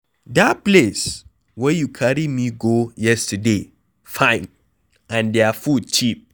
Dat place where you carry me go yesterday fine and their food cheap.